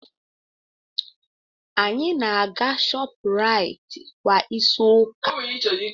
Anyị na-aga Shopuraiti kwa izu ụka.